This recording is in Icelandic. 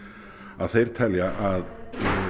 að þeir telja að